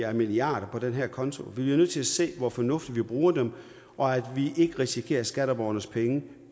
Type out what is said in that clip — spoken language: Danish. af milliarder på den her konto vi bliver nødt til at se hvor fornuftigt vi bruger dem og at vi ikke risikerer skatteborgernes penge